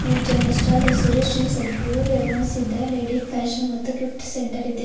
ಈ general stall ಹೆಸರು Shri Sadguru Revanasiddeshwara ladies fashion ಮತ್ತು ಗಿಫ್ಟ್ ಸೆಂಟರ್ ಇದೆ.